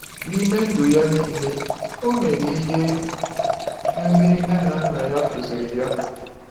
N’ime ndụ ya niile, o mere ihe ndị nne na nna ya kụziri ya.